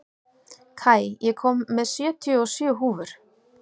Kai, ég kom með sjötíu og sjö húfur!